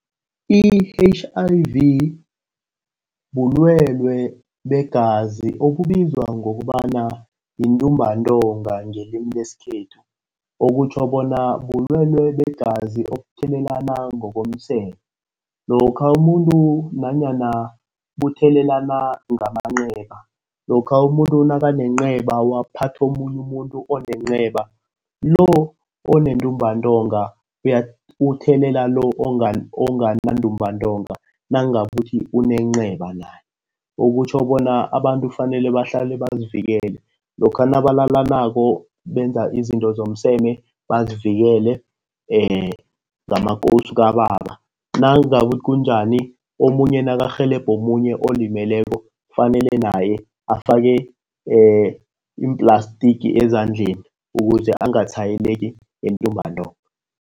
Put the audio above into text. I-H_I_V bulwelwe begazi obubizwa ngokobana yintumbantonga ngelimi lesikhethu. Okutjho bona bulwelwe begazi obuthelelana ngokomseme. Lokha umuntu nanyana buthelelana ngamanceba, lokha umuntu nakanenceba waphatha omunye umuntu onenceba. Lo onentumbantonga uthelela lo ongana ntumbantonga. Nangabe kuthi unenceba naye, okutjho bona abantu kufanele bahlale bazivikele. Lokha nabalalanako benza izinto zomseme bazivikele ngamakowusu kababa. Nangabe kunjani omunye nakarhelebha omunye olimeleko kufanele naye afake iimplastiki ezandleni ukuze angatshwayeleki ngentumbantonga.